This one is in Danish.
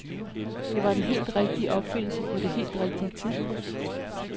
Det var den helt rigtige opfindelse på det helt rigtige tidspunkt.